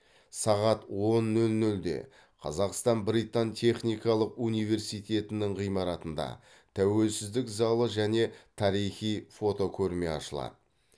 сағат он нөл нөлде қазақстан британ техникалық университетінің ғимаратында тәуелсіздік залы және тарихи фотокөрме ашылады